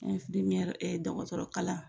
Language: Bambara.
dɔkɔtɔrɔ kalan